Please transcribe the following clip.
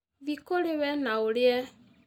Thiĩ kũrĩ we na ũrĩe